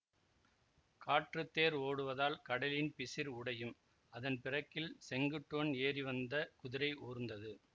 காற்றுத்தேர் ஓடுவதால் கடலின் பிசிர் உடையும் அதன் பிறக்கில் செங்குட்டுவன் ஏறிவந்த குதிரை ஊர்ந்தது